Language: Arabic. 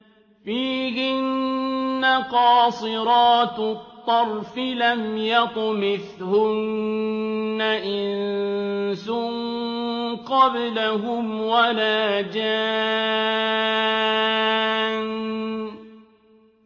فِيهِنَّ قَاصِرَاتُ الطَّرْفِ لَمْ يَطْمِثْهُنَّ إِنسٌ قَبْلَهُمْ وَلَا جَانٌّ